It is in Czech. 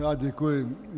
Já děkuji.